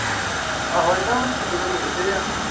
ਆਹੋ ਏਦਾਂ ਵਿੱਚ ਡੰਗਰ ਬੇਚਤੇ ਆ।